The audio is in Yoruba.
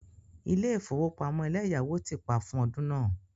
Ilé ìfowópamọ́ eleyawo ti pa fún ọdún náà.